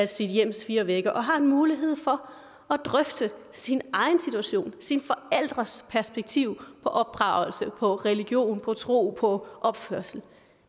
sit hjems fire vægge og har en mulighed for at drøfte sin egen situation sine forældres perspektiv på opdragelse på religion på tro på opførsel